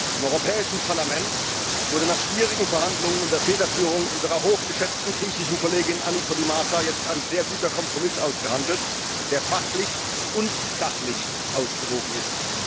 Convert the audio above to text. Im Europäischen Parlament wurde nach schwierigen Verhandlungen unter Federführung unserer hochgeschätzten griechischen Kollegin Anni Podimata jetzt ein sehr guter Kompromiss ausgehandelt, der fachlich und sachlich ausgewogen ist.